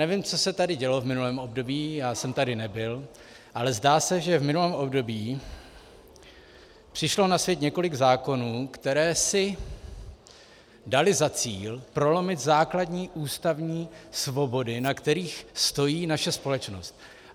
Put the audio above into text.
Nevím, co se tady dělo v minulém období, já jsem tady nebyl, ale zdá se, že v minulém období přišlo na svět několik zákonů, které si daly za cíl prolomit základní ústavní svobody, na kterých stojí naše společnost.